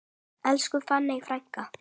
Elsku fanney frænka.